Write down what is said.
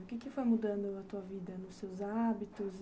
O que foi mudando a tua vida, nos seus hábitos?